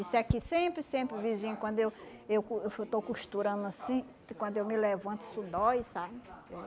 Isso aqui sempre, sempre, vizinho, quando eu eu co eu estou costurando assim, quando eu me levanto, isso dói, sabe? É